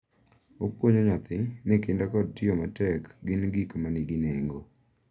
Opuonjo nyathi ni kinda kod tiyo matek gin gik ma nigi nengo,